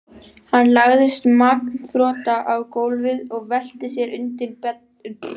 Hann lagðist magnþrota á gólfið og velti sér undir beddann.